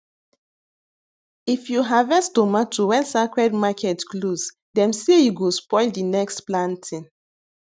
if you harvest tomato when sacred market close dem say e go spoil the next planting